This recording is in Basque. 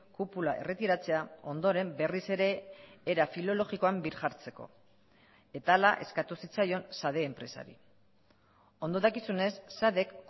kupula erretiratzea ondoren berriz ere era filologikoan birjartzeko eta hala eskatu zitzaion sade enpresari ondo dakizunez sadek